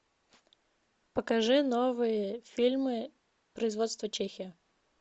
покажи новые фильмы производства чехия